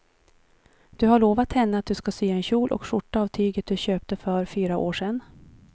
Du har lovat henne att du ska sy en kjol och skjorta av tyget du köpte för fyra år sedan.